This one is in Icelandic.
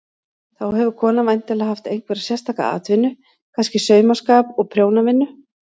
Þá hefur konan væntanlega haft einhverja sérstaka atvinnu, kannski saumaskap og prjónavinnu.